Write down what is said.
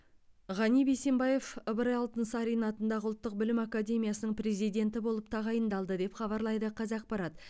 ғани бейсембаев ыбырай алтынсарин атындағы ұлттық білім академиясының президенті болып тағайындалды деп хабарлайды қазақпарат